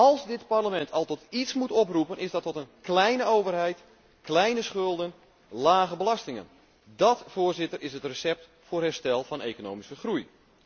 Als dit Parlement al tot iets moet oproepen, dan is dat tot een kleine overheid, kleine schulden, lage belastingen. Dat, Voorzitter, is het recept voor herstel van economische groei.